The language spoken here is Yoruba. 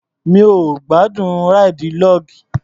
Mi ò gbádùn ráìdì log.